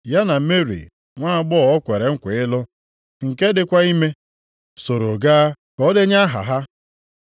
Ya na Meri, nwaagbọghọ o kwere nkwa ịlụ, nke dịkwa ime, soro gaa ka o denye aha ha.